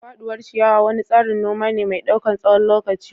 Faduwar ciyawa wani tsarin noma ne mai ɗaukan tsawon lokaci.